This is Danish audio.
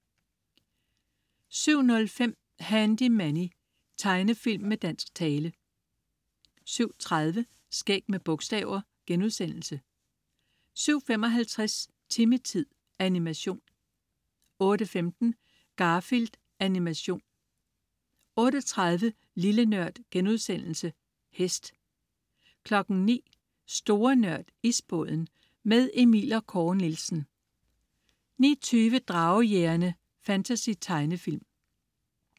07.05 Handy Manny. Tegnefilm med dansk tale 07.30 Skæg med bogstaver* 07.55 Timmy-tid. Animation 08.15 Garfield. Animation 08.30 Lille Nørd.* Hest 09.00 Store Nørd. Isbåden. Med Emil & Kåre Nielsen 09.20 Dragejægerne. Fantasy-tegnefilm